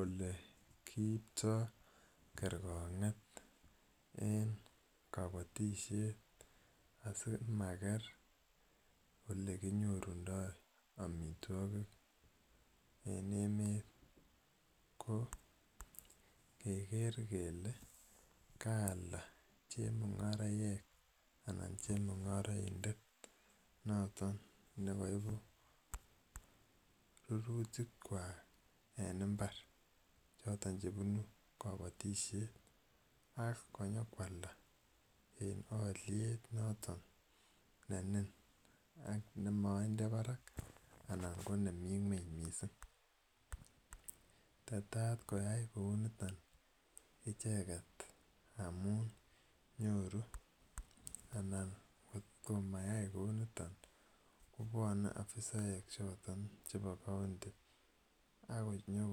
Ole kiiptai kerekong'et eng' kapatishet asimaker ole kinyorundai amitwogik en emet ko keker kele kaalda chemung'araek anan chemung'araindet noton ne kaipu rurutikwak en imbar choton chepunu kapatishet ak nyu ko alda en aliet noton ne mining' ak ne mainde parak anan ko nemi ng'uny missing'. Tetat koyai kou niton icheget amun nyoru anan ngot ko mayai kou niton ko pwane afisaek choton chepo kaunti ak nyu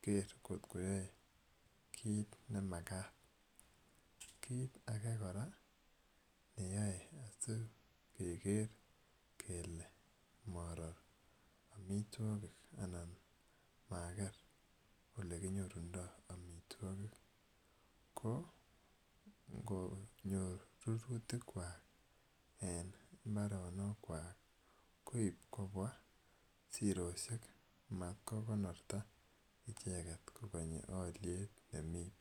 koker koyae kiit ne makat. Kiit age kora ne yae asikoger kole marer amitwogik anan maker ole kinyorundai amitwogik ko ngo nyor rurutikwak en mbaronikwak koip kopwa siroshek mat konorta icheget kokenyi aliet nemi parak.